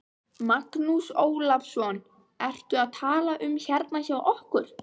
Magnús Ólafsson: Ertu að tala um hérna hjá okkur?